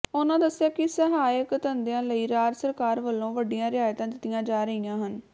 ਉਨ੍ਹਾਂ ਦੱਸਿਆ ਕਿ ਸਹਾਇਕ ਧੰਦਿਆਂ ਲਈ ਰਾਜ ਸਰਕਾਰ ਵੱਲੋਂ ਵੱਡੀਆਂ ਰਿਆਇਤਾਂ ਦਿੱਤੀਆਂ ਜਾ ਰਹੀਆਂ ਹਨ